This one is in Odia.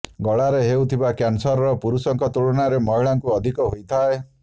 ଗଳାରେ ହେଉଥିବା କ୍ୟାନସର ପୁରୁଷଙ୍କ ତୁଳନାରେ ମହିଳାଙ୍କୁ ଅଧିକ ହୋଇଥାଏ